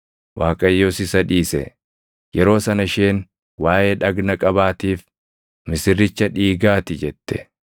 Waaqayyos isa dhiise. Yeroo sana isheen waaʼee dhagna qabaatiif, “Misirricha dhiigaa ti” jette.